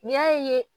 N'i y'a ye